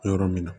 Yɔrɔ min na